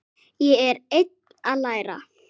Ég er enn að læra.